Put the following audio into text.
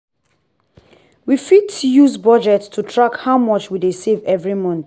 we fit use budget to track how much we dey save every month.